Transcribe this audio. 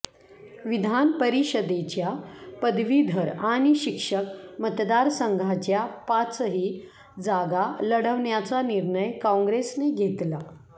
विधान परिषदेच्या पदवीधर आणि शिक्षक मतदारसंघाच्या पाचही जागा लढवण्याचा निर्णय काँग्रेसने घेतला